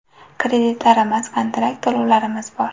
Kreditlarimiz, kontrakt to‘lovlarimiz bor.